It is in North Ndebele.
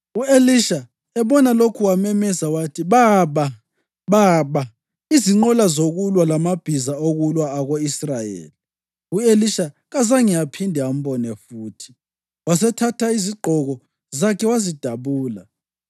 U-Elisha ebona lokhu wamemeza wathi, “Baba! Baba! Izinqola zokulwa labamabhiza okulwa ako-Israyeli!” U-Elisha kasazange aphinde ambone futhi. Wasethatha izigqoko zakhe wazidabula.